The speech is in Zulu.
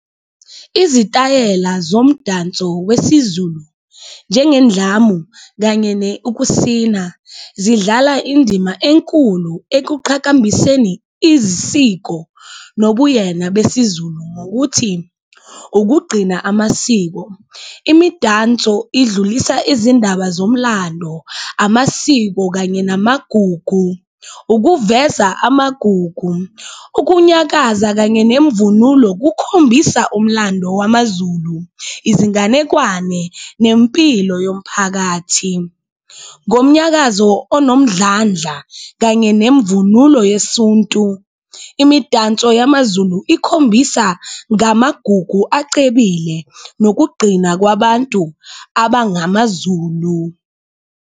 Izitayela zomdanso wesiZulu njengendlamu kanye ukusina zidlala indima enkulu ekuqhakambiseni izisiko nobuyena besiZulu ngokuthi ukugcina amasiko. Imidanso idlulisa izindaba zomlando, amasiko kanye namagugu, ukuveza amagugu, ukunyakaza kanye nemvunulo kukhombisa umlando wamaZulu, izinganekwane nempilo yomphakathi. Ngomnyakazo anomdlandla kanye nemvunulo yesuntu imidanso yamaZulu ikhombisa ngamagugu acebile nokugqina kwabantu abangamaZulu.